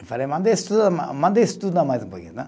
Eu falei, manda estudar, manda estudar mais um pouquinho, tá?